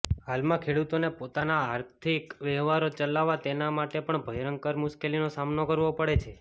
હાલમાં ખેડૂતોને પોતાના આર્થિક વહેવારો ચલાવવા તેના માટે પણ ભયંકર મુશ્કેલીનો સામનો કરવો પડે છે